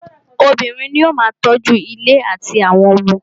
Obìnrin ní o máà tọ́ju ilé àtí àwọn ọmọ.